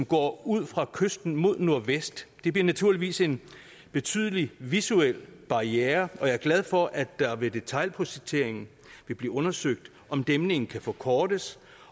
går ud fra kysten mod nordvest det bliver naturligvis en betydelig visuel barriere og jeg er glad for at der ved detailprojekteringen vil blive undersøgt om dæmningen kan forkortes